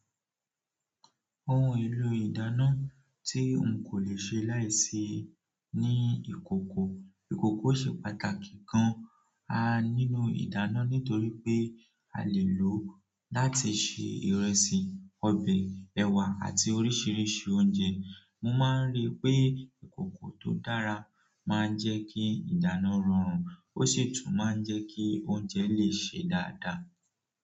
Òhìn èlò ìdáná tí ǹ kò lè ṣe láì sí ní ìkòkò. Ìkòkò ṣe pàtàkì gàn-àn nínú ìdáná nítòrí pé à lè lòó láti ṣe ìrẹsì, ọbẹ̀, ẹ̀wà àti oríṣiríṣi oúnjẹ. Mò máà ń rí pé ìkòkò tó dára máa ń jẹ́ kí ìdáná rọrùn ó sì tún máa ń jẹ́ kí oúnjẹ lè ṣe dáadáa.